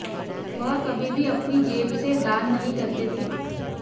वह कभी भी अपनी जेब से दान नहीं करते थे